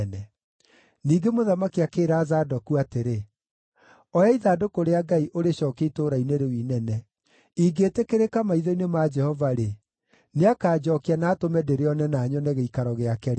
Ningĩ mũthamaki akĩĩra Zadoku atĩrĩ, “Oya ithandũkũ rĩa Ngai ũrĩcookie itũũra-inĩ rĩu inene. Ingĩĩtĩkĩrĩka maitho-inĩ ma Jehova-rĩ, nĩakanjookia na atũme ndĩrĩone na nyone gĩikaro gĩake rĩngĩ.